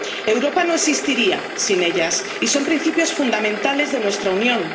Europa no existiría sin ellas y son principios fundamentales de nuestra Unión.